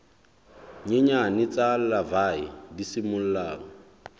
nyenyane tsa larvae di simollang